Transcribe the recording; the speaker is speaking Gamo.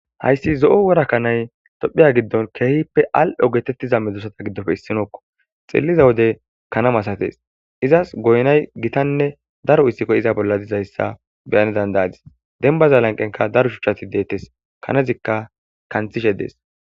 Hayssi zo'o worakkanay tophiya giddon keehippe al'o getettiza medzusata giddofe issinookko xilliza wode kanam asates izas goynay gitanne daro issikko iza bolla dizayssa beyane dandayadis denbaza lanqenka daro shuchchati deettes kanezikka kanthishe dees